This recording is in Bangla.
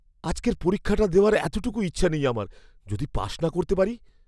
আজকের পরীক্ষাটা দেওয়ার এতটুকু ইচ্ছা নেই আমার। যদি পাশ না করতে পারি?